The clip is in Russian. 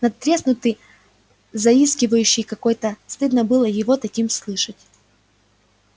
надтреснутый заискивающий какой-то стыдно было его таким слышать